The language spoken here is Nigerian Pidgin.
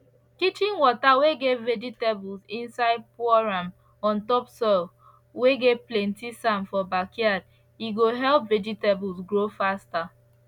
kitchen water whey get vegetables inside pour am on top soil whey get plenty sand for backyard he go help vegetables grow faster